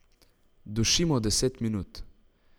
Dušimo deset minut.